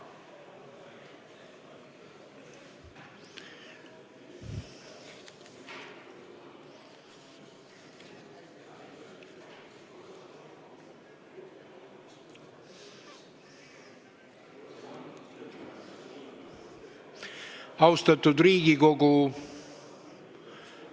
Austatud Riigikogu!